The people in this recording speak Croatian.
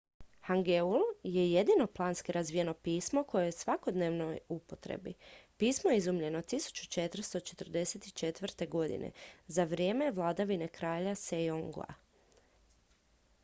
hangeul je jedino planski razvijeno pismo koje je u svakodnevnoj upotrebi. pismo je izumljeno 1444. za vrijeme vladavine kralja sejonga 1418. – 1450.